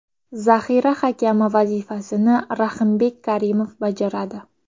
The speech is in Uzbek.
Zaxira hakami vazifasini Rahimbek Karimov bajaradi.